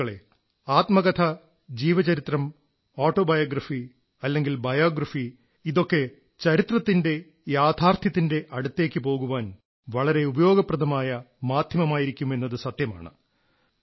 സുഹൃത്തുക്കളേ ആത്മകഥ ജീവചരിത്രം ഓട്ടോബയോഗ്രഫി അല്ലെങ്കിൽ ബയോഗ്രഫി ഇതൊക്കെ ചരിത്രത്തിന്റെ യാഥാർഥ്യത്തിന്റെ അടുത്തേക്കു പോകാൻ വളരെ ഉപയോഗപ്രദമായ മാധ്യമമായിരിക്കും എന്നത് സത്യമാണ്